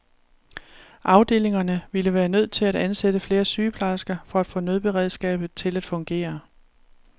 Afdelingerne ville være nødt til at ansætte flere sygeplejersker for at få nødberedskabet til at fungere.